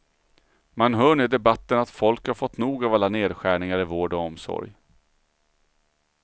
Man hör nu i debatten att folk har fått nog av alla nedskärningar i vård och omsorg.